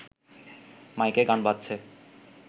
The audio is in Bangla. মাইকে গান বাজছে